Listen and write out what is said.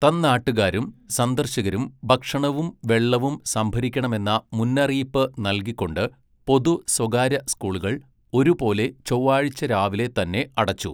തന്നാട്ടുകാരും സന്ദർശകരും ഭക്ഷണവും വെള്ളവും സംഭരിക്കണമെന്ന മുന്നറിയിപ്പ് നൽകിക്കൊണ്ട് പൊതു, സ്വകാര്യ സ്കൂളുകൾ ഒരുപോലെ ചൊവ്വാഴ്ച രാവിലെ തന്നെ അടച്ചു.